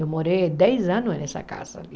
Eu morei dez anos nessa casa ali.